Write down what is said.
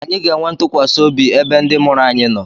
Anyị ga-enwe ntụkwasị obi ebe ndị mụrụ anyị nọ.